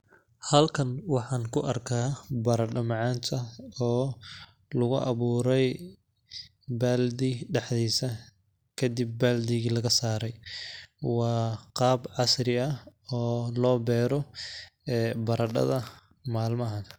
Halkan waxaan ku arkaa baradho macaanta oo lagu awuuray baaldi dhaxdiisa kadib baaldigi laga saare ,waa qaab casri ah oo loo beero ee baradhada malmahan.